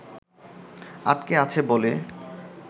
আটকে আছে বলে